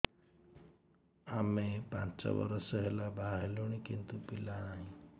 ଆମେ ପାଞ୍ଚ ବର୍ଷ ହେଲା ବାହା ହେଲୁଣି କିନ୍ତୁ ପିଲା ନାହିଁ